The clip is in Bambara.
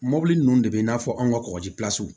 Mɔbili ninnu de be i n'a fɔ an ka kɔkɔji